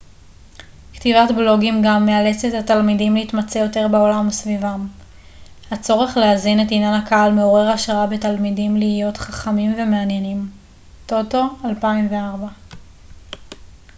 "כתיבת בלוגים גם "מאלצת את התלמידים להתמצא יותר בעולם סביבם"". הצורך להזין את עניין הקהל מעורר השראה בתלמידים להיות חכמים ומעניינים טוטו 2004.